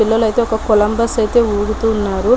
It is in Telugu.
పిల్లలు అయితే ఒక కొలంబస్ అయితే ఊగుతూ ఉన్నారు .